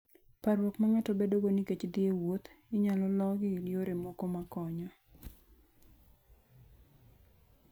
Parruok ma ng'ato bedogo nikech dhi e wuoth, inyalo lo gi yore moko makonyo.